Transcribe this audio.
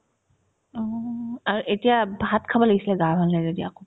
অ, আৰ্ এতিয়া ভাত খাব লাগিছিলে গা ভাল নাই যদি আকৌ